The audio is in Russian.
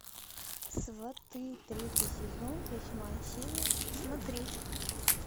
сваты третий сезон восьмая серия смотреть